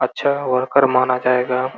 अच्छा वर्कर माना जायेगा।